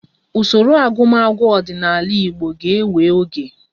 Usoro agụmagụ ọdịnala Igbo ga-ewe oge